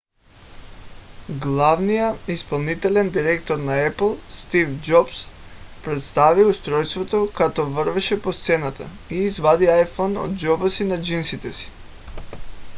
главният изпълнителен директор на apple стив джобс представи устройството като вървеше по сцената и извади iphone от джоба на джинсите си